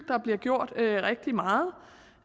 der bliver gjort rigtig meget